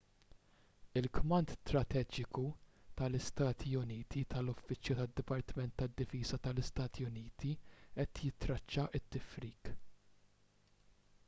il-kmand strateġiku tal-istati uniti tal-uffiċċju tad-dipartiment tad-difiża tal-istati uniti qed jittraċċa t-tifrik